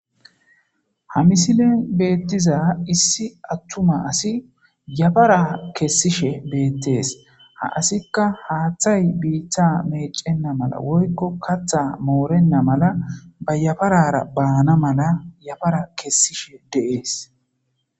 Ha misle betiza issi atuma asi yafara kesishe betese ha asika hathay bita mecena mala woyko katha morena mala mayaparara bana mala yafara kesishe des